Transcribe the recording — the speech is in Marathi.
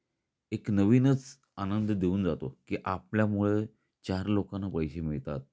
एक नवीनच आनंद देऊन जातो की आपल्यामुळे चार लोकांना पैसे मिळतात.